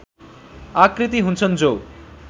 आकृति हुन्छन् जो